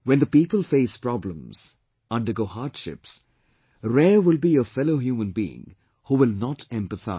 When the people face problems, undergo hardships, rare will be a fellow human being who will not empathise